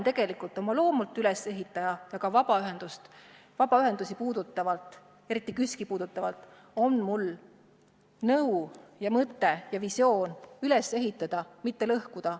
Tegelikult olen ma oma loomult ülesehitaja ja ka vabaühendusi puudutavalt, eriti KÜSK-i puudutavalt on mul nõu ja mõte ja visioon üles ehitada, mitte lõhkuda.